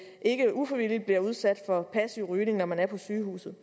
ikke ufrivilligt bliver udsat for passiv rygning når man er på sygehuset